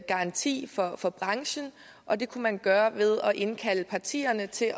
garanti for for branchen og det kunne man gøre ved at indkalde partierne til